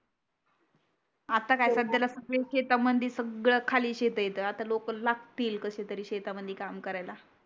आता काय सद्द्याला सगडे शेत मधी सगड खाली शेत आहे इथ आता लोक लागतील कशे तरी शेतामध्ये काम करायला